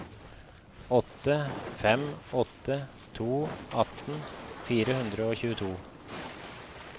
åtte fem åtte to atten fire hundre og tjueto